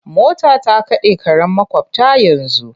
Mota ta kaɗe karen maƙwabta yanzu.